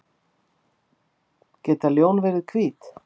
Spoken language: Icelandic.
Geta ljón verið hvít?